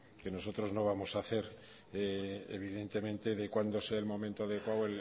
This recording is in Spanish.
que nosotros no vamos a hacer evidentemente de cuando sea el momento adecuado